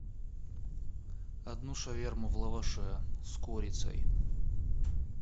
одну шаверму в лаваше с курицей